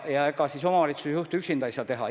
Ja ega siis omavalitsuse juht üksinda ei jõua midagi.